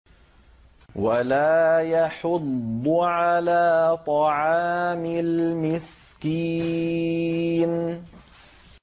وَلَا يَحُضُّ عَلَىٰ طَعَامِ الْمِسْكِينِ